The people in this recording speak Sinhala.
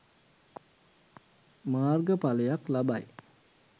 මාර්ග පලයක් ලබයි